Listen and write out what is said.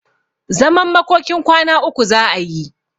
Zaman makokin kwana uku za'a yi.